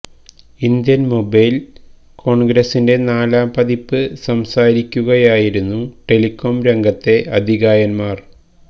Indian mobile കോണ്ഗ്രസിന്റെ നാലാം പതിപ്പില് സംസാരിക്കുകയായിരുന്നു ടെലികോം രംഗത്തെ അതികായന്മാര്